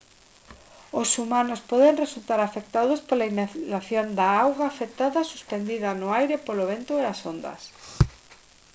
os humanos poden resultar afectados pola inhalación de auga afectada suspendida no aire polo vento e as ondas